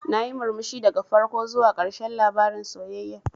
Nayi murmushi daga farko zuwa ƙarshen labarin sayayyar.